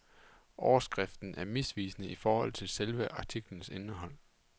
Overskriften er misvisende i forhold til selve artiklens indhold.